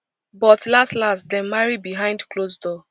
but laslas dem marry behind close door